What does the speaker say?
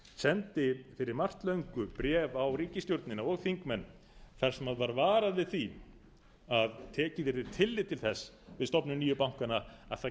sendi fyrir margt löngu bréf á ríkisstjórnina og þingmenn þar sem var varað við því að tekið yrði tillit til þess við stofnun nýju bankanna að það